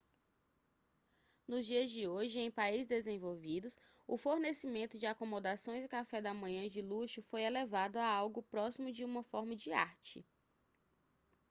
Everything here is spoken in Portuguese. nos dias de hoje em países desenvolvidos o fornecimento de acomodações e café da manhã de luxo foi elevado a algo próximo de uma forma de arte